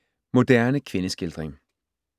Moderne kvindeskildring